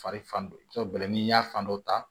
Fari fan dɔ bɛlɛn n'i y'a fan dɔ ta